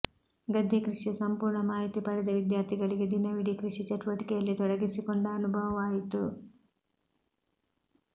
ಗದ್ದೆ ಕೃಷಿಯ ಸಂಪೂರ್ಣ ಮಾಹಿತಿ ಪಡೆದ ವಿದ್ಯಾರ್ಥಿಗಳಿಗೆ ದಿನವಿಡೀ ಕೃಷಿ ಚಟುವಟಿಕೆಯಲ್ಲೇ ತೊಡಗಿಸಿಕೊಂಡ ಅನುಭವವಾಯಿತು